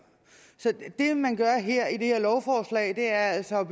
så det man gør i det her lovforslag er altså at